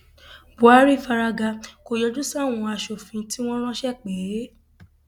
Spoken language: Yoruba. buhari fárágà kò yọjú sáwọn asòfin tí wọn ránṣẹ pè é